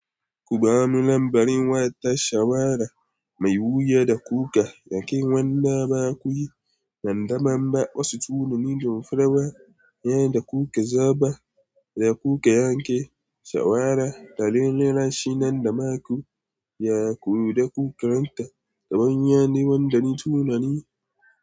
Ku ba mu lambarin wata shawara mai wuya da kuka daki wannan ba ku yi. Nan da banba, wasu tunanin sun farawa yadda kuka zaɓa da kuka yanke shawara tare da rashi nan da maku, ya koyi da ku karanta. Sabon yare wanda na tunani.